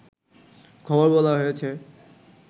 খবর বলা হয়েছে